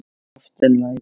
Ástin læðist.